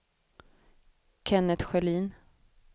Kennet Sjölin